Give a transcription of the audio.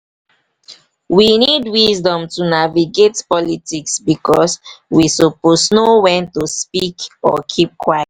we need wisdom to navigate politics bicos we suppose know wen to speak or keep quiet.